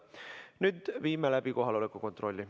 Nüüd viime läbi kohaloleku kontrolli.